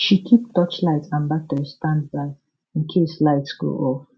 she keep torchlight and battery standby in case light go off